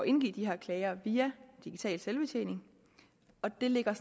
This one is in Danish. indgive de her klager via digital selvbetjening og det ligger